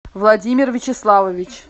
владимир вячеславович